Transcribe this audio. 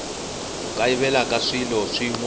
ku kayivela ka swilo swin